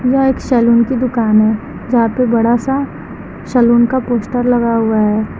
यह एक सैलून की दुकान है जहां पे बड़ा सा सलून का पोस्टर लगा हुआ है।